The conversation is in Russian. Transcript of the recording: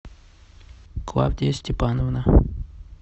клавдия степановна